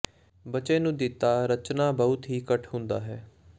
ਬੱਚੇ ਨੂੰ ਦਿੱਤਾ ਰਚਨਾ ਬਹੁਤ ਹੀ ਘੱਟ ਹੁੰਦਾ ਹੈ